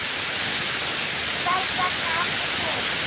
Hvers vegna ekki þú?